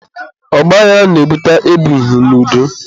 ọgbaghara na-ebute ebighị n'udo.